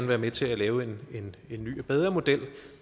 være med til at lave en ny og bedre model